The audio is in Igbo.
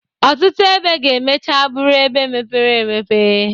Ọtụtụ ebe ga-emecha bụrụ ebe mepere emepe.